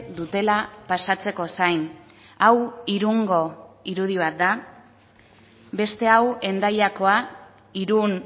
dutela pasatzeko zain hau irungo irudi bat da beste hau hendaiakoa irun